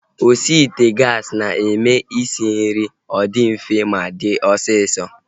Osi ite gaasi na-eme isi nri ọ dị mfe ma dị osisọ